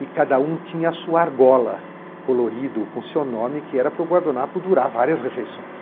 E cada um tinha a sua argola colorida, com o seu nome, que era para o guardanapo durar várias refeições.